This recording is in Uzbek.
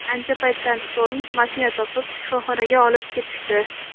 Ancha paytdan so‘ng mashina topib, shifoxonaga olib ketishdi.